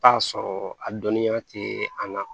Taa sɔrɔ a dɔnniya tɛ an na